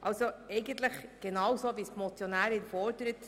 Wir leben also genau das, was die Motionärin fordert.